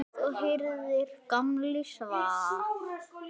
Hún heyrði að Gamli svaf.